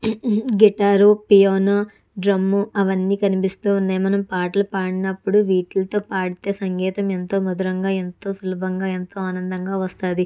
Guitar piano drum అవన్నీ కనిపిస్తూ ఉన్నాయి మనం పాటలు పడినపుడు వీటిలతో పాడితే సంగీతం ఎంతో మధురంగా ఎంతో సులభంగా ఎంతో అందంగా వస్తది.